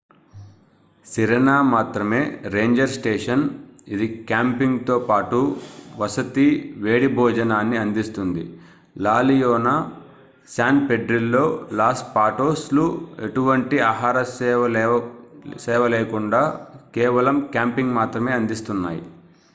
Sirena మాత్రమే ranger station ఇది camping తో పాటు వసతి వేడి భోజనాన్ని అందిస్తుంది La Leona San Pedrillo Los Patos లు ఎలాంటి ఆహార సేవలేకుండా కేవలం క్యాంపింగ్ మాత్రమే అందిస్తున్నాయి